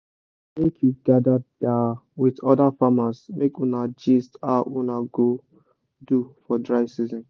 make you gather da with other farmers make una gist how una go do for dry season